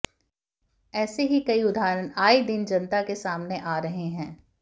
ऐसे ही कई उदाहरण आये दिन जनता के सामने आ रहे हैं